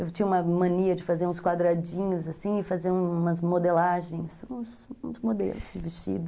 Eu tinha uma mania de fazer uns quadradinhos, fazer umas modelagens, uns modelos de vestido.